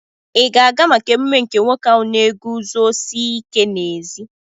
Ị ga-aga maka emume nke nwoke ahụ na-eguzosi ike n'ezi?